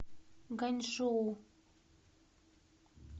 ганьчжоу